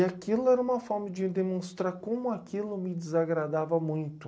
E aquilo era uma forma de demonstrar como aquilo me desagradava muito.